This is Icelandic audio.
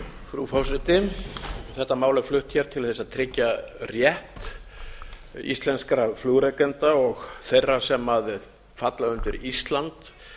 frú forseti þetta mál er flutt hér til þess að tryggja rétt íslenskra flugrekenda og þeirra sem falla undir ísland